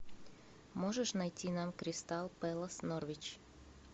можешь найти нам кристал пэлас норвич